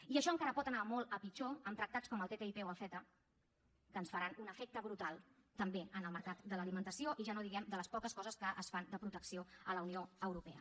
i això encara pot anar molt a pitjor amb tractats com el ttip o el ceta que ens faran un efecte brutal també en el mercat de l’alimentació i ja no diguem de les poques coses que es fan de protecció a la unió europea